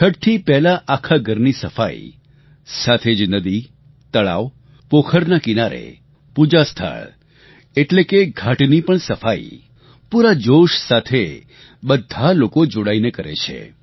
છઠથી પહેલા આખા ઘરની સફાઈ સાથે જ નદી તળાવ પોખરના કિનારે પૂજા સ્થળ એટલે કે ઘાટની પણ સફાઈ પૂરા જોશ સાથે બધા લોકો જોડાઈને કરે છે